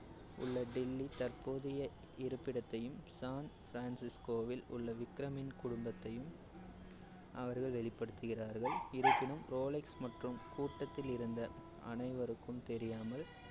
உள்ள டில்லி தற்போதைய இருப்பிடத்தையும் சான் ஃப்ரான்சிஸ்கோவில் உள்ள விகரமின் குடும்பத்தையும் அவர்கள் வெளிப்படுத்துகிறார்கள். இருப்பினும் ரோலெக்ஸ் மற்றும் கூட்டத்திலிருந்த அனைவருக்கும் தெரியாமல்